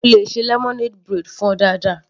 Mo le ṣe lemonade braid fún ọ dáadáa.